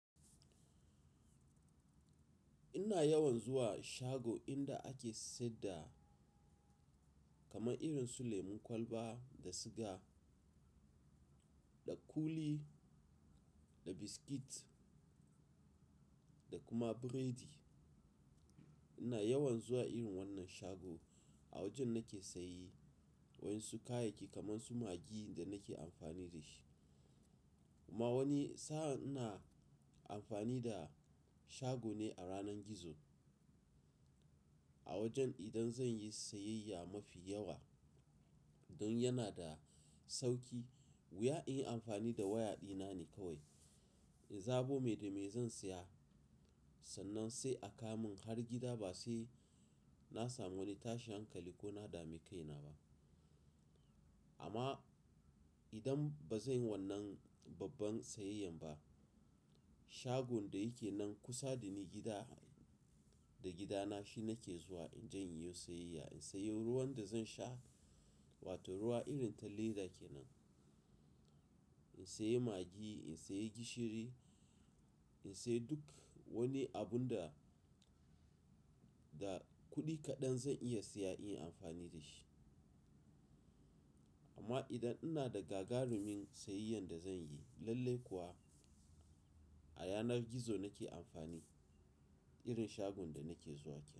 Ina yawan zuwa shago inda ake saida kamar irin su lemon kwalba da siga, da kuli, da biskit da kuma biredi. Ina yawan zuwa irin wannan shago a wajen nake sayi waɗansu kayayyaki kamar su maggi da nake amfani da shi. Ama wani sa'a ina amfani da shago ne a yanar gizo, a wajen idan zan yi sayayya mafi yawa don yana da sauki. Wuya in yi amfani da waya dina ne kawai. In zaɓo me da mai zan saya, sannan sai a ka mun har gida ba sai na samu wani tashin hankali ko na dame kaina ba. Amma idan ba zan yi wannan babban sayayyan ba, shagon da yake nan kusa da ni gida, da gidana shi nake zuwa in jan yi sayayya. In sayi ruwan da zan sha wato ruwa irin ta leda kenan. In sayi maggi, in sayi gishiri, in sayi duk wani abun da, da kuɗi kaɗan zan iya siya in yi amfani da shi. Amma idan ina da gagarumin sayayyan da zan yi lalle kuwa, a yanar gizo nake amfani irin shagon da nake zuwa ke.